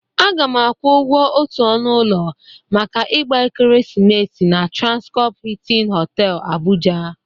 Aga m akwụ ụgwọ otu ọnụ ụlọ maka ịgba Ekeresimesi na Transkọpụ Hịịtịn Họtelụ, Abụja.